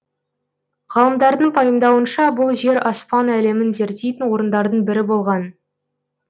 ғалымдардың пайымдауынша бұл жер аспан әлемін зерттейтін орындардың бірі болған